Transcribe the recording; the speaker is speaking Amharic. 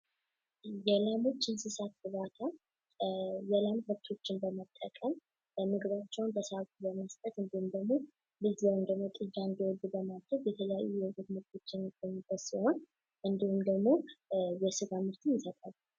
የላሞች እንስሳት እርባታ የወተት ከብቶችን በመጠቀም ምግብ በመስጠት እንዲሁም ደግሞ ጥጃ እንዲወልዱ በማድረግ የወተት ምርቶችን የሚሰጡ ሲሆን እንዲሁም ደግሞ የስጋ ምርትን ይሰጣሉ።